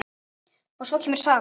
Og svo kemur saga